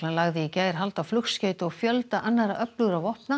lagði í gær hald á flugskeyti og fjölda annarra öflugra vopna